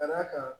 Ka d'a kan